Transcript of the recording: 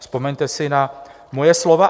Vzpomeňte si na moje slova.